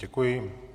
Děkuji.